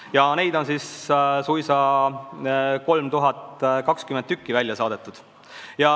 Ja neid on suisa 3020 tükki välja saadetud.